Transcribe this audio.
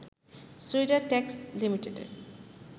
sweater tax লিমিটেডের